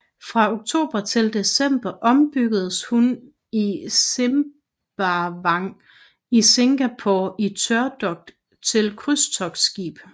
Fra oktober til december ombyggedes hun i Sembawang i Singapore i tørdok til krydstogtskib